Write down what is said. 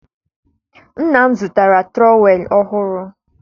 nna m zụtara trowel ọhụrụ